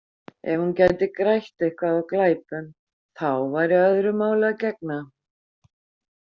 Ef hún gæti grætt eitthvað á glæpum, þá væri öðru máli að gegna.